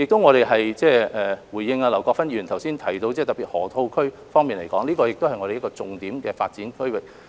我亦想回應劉國勳議員剛才特別提及的河套區，這是我們重點發展的區域。